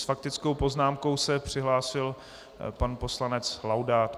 S faktickou poznámkou se přihlásil pan poslanec Laudát.